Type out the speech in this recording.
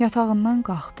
Yatağından qalxdı.